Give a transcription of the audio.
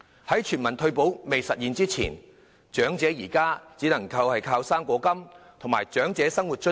在全民退保未落實前，長者現時只能依靠"生果金"和長者生活津貼。